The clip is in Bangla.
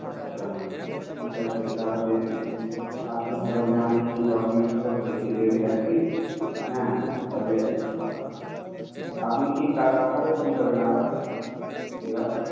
আচ্ছা ঠিক আছে তাহলে, আমি documents সব ready রাখছি তাহলে। আপনি আবার কবে phone করবেন আবার